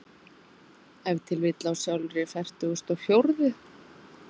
Ef til vill á sjálfri fertugustu og fjórðu.